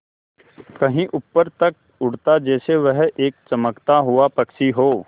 कहीं ऊपर तक उड़ाता जैसे वह एक चमकता हुआ पक्षी हो